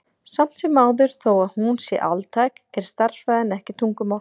Samt sem áður, þó að hún sé altæk, er stærðfræðin ekki tungumál.